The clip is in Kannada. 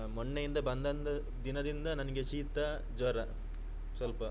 ಮೊನ್ನೆಯಿಂದ ಬಂದಂದು ದಿನದಿಂದ ನನಗೆ ಶೀತ ಜ್ವರ ಸ್ವಲ್ಪ.